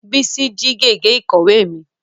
Bísí jí gègé ìkọ̀wé mi